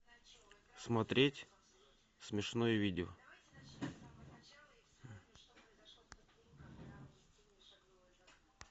смотреть смешные видео